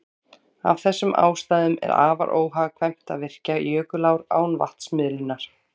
Af þessum ástæðum er afar óhagkvæmt að virkja jökulár án vatnsmiðlunar.